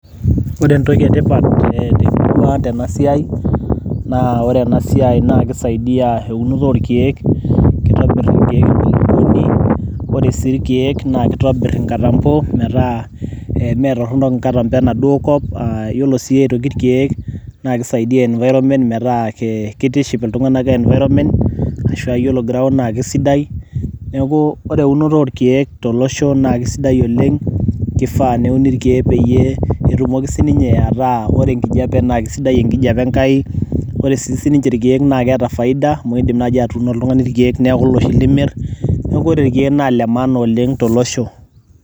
Ore entoki etipat temurua ang tenasiai, naa ore enasiai na kisaidia ounoto orkeek, kitobirr inkeek pooki uni. Ore si irkeek na kitobir inkatambo, metaa, eh metorronok inkatambo enaduo kop. Yiolo si aitoki irkeek, na kisaidia environment metaa kitiship iltung'anak environment, ashua yiolo ground naa kesidai. Neeku ore eunoto orkeek tolosho na kesidai oleng',kifaa neuni irkeek peyie etumoki sininye ataa ore enkijape na kesidai enkijape Enkai. Ore sininche irkeek na keeta faida, amu idim nai atuuno oltung'ani irkeek neeku loshi limir. Neeku ore irkeek na lemaana oleng' tolosho.